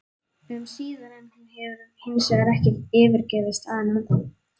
um síðar, en hún hefur hinsvegar ekki yfirgefið staðinn ennþá.